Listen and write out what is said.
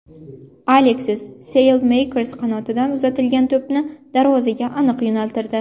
Aleksis Salemakers qanotdan uzatilgan to‘pni darvozaga aniq yo‘naltirdi.